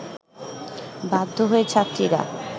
বাধ্য হয়ে ছাত্রীরা